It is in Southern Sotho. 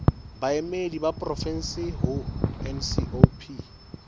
baemedi ba porofensi ho ncop